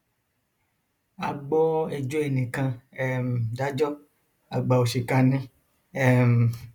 a gbọ ẹjọ ẹnì kan um dájọ àgbà òṣìkà ni um